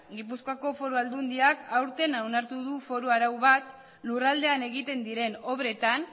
gipuzkoako foru aldundiak aurten onartu du foru arau bat lurraldean egiten diren obretan